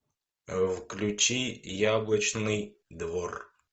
включи яблочный двор